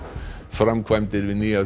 framkvæmdir við nýjar